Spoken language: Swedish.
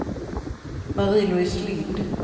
Marie-Louise Lind